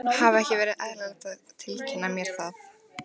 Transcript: Hefði ekki verið eðlilegt að tilkynna mér það?